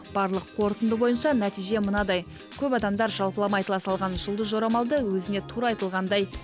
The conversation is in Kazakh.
барлық қорытынды бойынша нәтиже мынадай көп адамдар жалпылама айтыла салған жұлдыз жорамалды өзіне тура айтылғандай